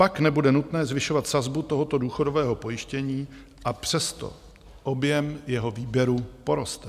Pak nebude nutné zvyšovat sazbu tohoto důchodového pojištění, a přesto objem jeho výběru poroste.